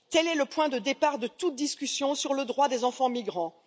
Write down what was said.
Tel est le point de départ de toute discussion sur le droit des enfants migrants.